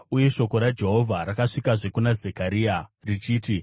Uye shoko raJehovha rakasvikazve kuna Zekaria richiti,